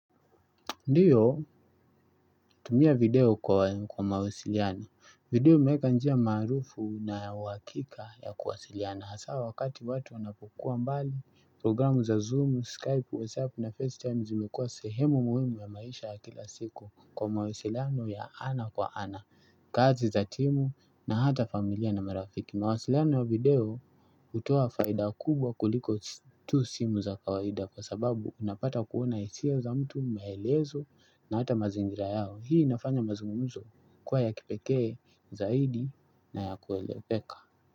Ndiyo, tumia video kwa mawasiliano. Video imewekanjia maarufu nayau hakika ya kuwasiliana. Hasa wakati watu wanapokua mbali, programu za Zoom, Skype, WhatsApp na FaceTime zimekuwa sehemu muhimu ya maisha ya kila siku kwa mawasiliano ya ana kwa ana, kazi za timu na hata familia na marafiki. Ma wasiliano ya video hutoa faida kubwa kuliko tu simu za kawaida kwa sababu unapata kuona hisia za mtu maelezo na hata mazingira yao. Hii inafanya mazungumzo kuwa ya kipekee zaidi na ya kueleweka.